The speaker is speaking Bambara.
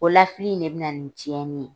O lafili in de bina nin tiɲɛni ye.